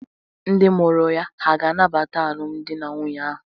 Ndị mụrụ ya hà ga-anabata alụmdi na nwunye ahụ?